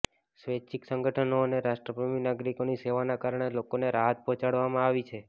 સ્વૈચ્છિક સંગઠનો અને રાષ્ટ્રપ્રેમી નાગરિકોની સેવાના કારણે લોકોને રાહત પહોંચાડવામાં આવી છે